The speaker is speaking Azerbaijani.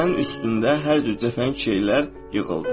Sənin üstündə hər cür cəfəngi şeylər yığıldı.